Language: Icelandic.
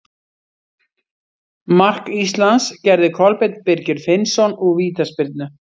Mark Íslands gerði Kolbeinn Birgir Finnsson úr vítaspyrnu.